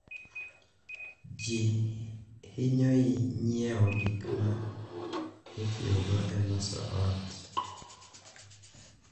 Ji hinyoi nyiewo gik ma itiyogo e loso ot,